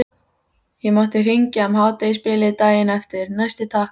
Ég mátti hringja um hádegisbilið daginn eftir, næsti takk!